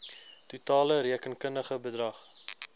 totale rekenkundige bedrag